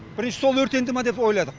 бірінші сол өртенді ме деп ойладық